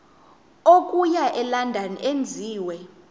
okuya elondon enziwe